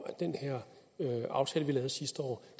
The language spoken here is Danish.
at den her aftale vi lavede sidste år